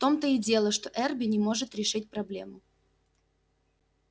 в том-то и дело что эрби не может решить проблему